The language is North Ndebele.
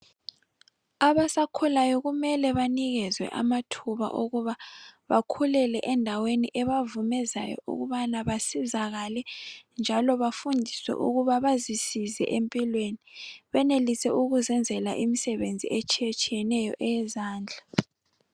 Abasakhulayo kumele banikezwe amathuba okuthi bakhulele endaweni ebavumezayo ukubana basizakale njalo bafundiswe ukuba bazisize empilweni benelise ukuzenzela imisebenzi etshiyetshiyeneyo eyezandla.